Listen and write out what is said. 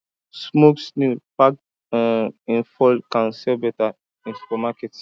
smoked snail packed in foil can sell better in supermarkets